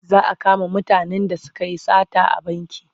Za a kama mutanen da suka yi sata a banki.